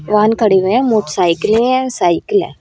वाहन खड़े हुए है मोटरसाइकिले है साइकिल है।